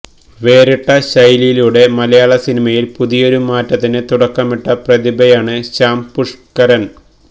വേറിട്ട ശൈലിയിലൂടെ മലയാള സിനിമയില് പുതിയൊരു മാറ്റത്തിന് തുടക്കമിട്ട പ്രതിഭയാണ് ശ്യാം പുഷ്കരന്